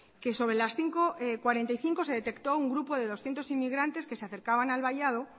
que sobre las cinco cuarenta y cinco se detectó un grupo de doscientos inmigrantes que se acercaban al vallado